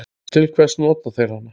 Til hvers nota þeir hana?